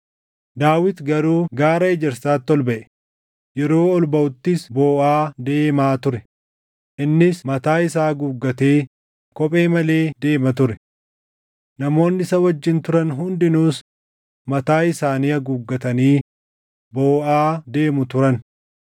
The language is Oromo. Daawit garuu Gaara Ejersaatti ol baʼe; yeroo ol baʼuttis booʼaa deemaa ture; innis mataa isaa haguuggatee kophee malee deema ture. Namoonni isa wajjin turan hundinuus mataa isaanii haguuggatanii booʼaa deemu turan.